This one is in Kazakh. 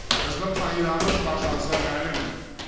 біздің қағидамыз баршаңызға мәлім